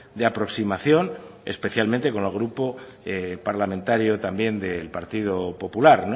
de aproximación especialmente con el grupo parlamentario también del partido popular